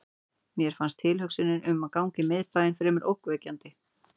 Mér fannst tilhugsunin um að ganga um í miðbænum fremur ógnvekjandi.